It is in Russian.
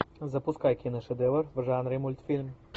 запускай киношедевр в жанре мультфильм